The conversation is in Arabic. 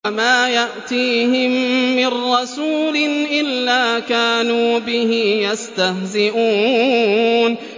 وَمَا يَأْتِيهِم مِّن رَّسُولٍ إِلَّا كَانُوا بِهِ يَسْتَهْزِئُونَ